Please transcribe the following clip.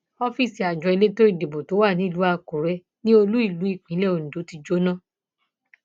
ọfíìsì àjọ elétò ìdìbò tó wà nílùú àkúrẹ ni olúìlú ìpínlẹ ondo ti jóná